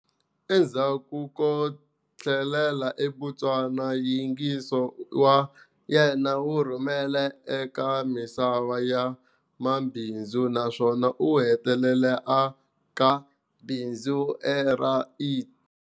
Endzhaku ko tlhelela eBotswana nyingiso wa yena wu rhumele eka misava ya mabindzu naswona u hetelele aka bindzu ra IT.